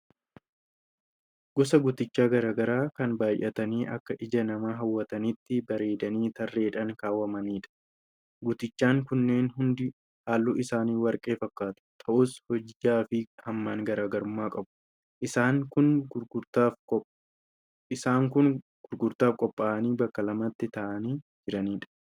Gosa guutichaa garaagaraa kan baay'atanii akka ija namaa hawwatanitti bareedanii tarreedhan kaawamanidha. Guutichaan kunneen hundi haalluun isaanii warqii fakkaatu; ta'us hojjaafi hammaan garaagarummaa qabu. Isaanis kan gurgurtaaf qophaa'anii bakka lamattii taa'anii jiranidha.